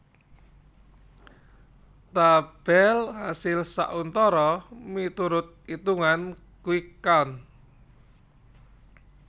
Tabel asil sauntara miturut itungan quick count